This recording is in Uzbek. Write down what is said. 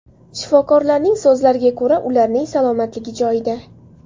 Shifokorlarning so‘zlariga ko‘ra, ularning salomatligi joyida.